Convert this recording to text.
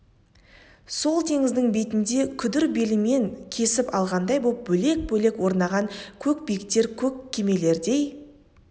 сол теңіздің бетінде күдір белімен кесіп алғандай боп бөлек-бөлек орнаған көк биіктер көк кемелердей